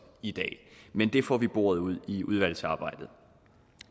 i dag men det får vi boret ud i udvalgsarbejdet